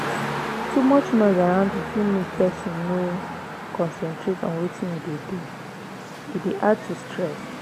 too much noise around you fit make person no concentrate on wetin im dey do e dey add to stress